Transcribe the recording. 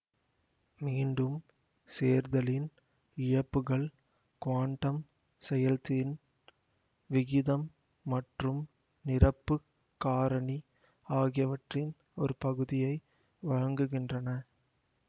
மீண்டும் சேர்தலின் இழப்புகள் குவாண்டம் செயல்தின் விகிதம் மற்றும் நிரப்பு காரணி ஆகியவற்றின் ஒரு பகுதியை வழங்குகின்றன